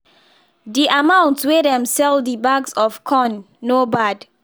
the amount wey dem sell the bags of corn no bad